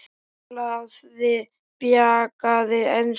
Talaði bjagaða ensku: